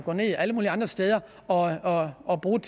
alle mulige andre steder og og bruge